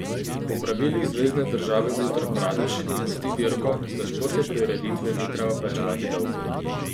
Po pravilih zvezne države Utar Pradeš, ki gosti dirko, za športne prireditve ni treba plačevati davkov.